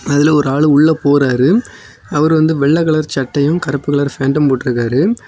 அதுல ஒரு ஆளு உள்ள போறாரு அவர் வந்து வெள்ளை கலர் சட்டையும் கருப்பு கலர் பேண்ட்டும் போட்டிருக்காரு.